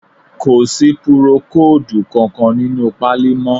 Kò sí púrókòòdù kankan nínú páálí mọ́